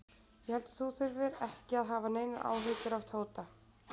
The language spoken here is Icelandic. Ég held þú þurfir ekki að hafa neinar áhyggjur af Tóta.